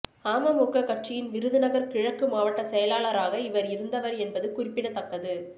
அமமுக கட்சியின் விருதுநகர் கிழக்கு மாவட்ட செயலாளராக இவர் இருந்தவர் என்பது குறிப்பிடத்தக்கது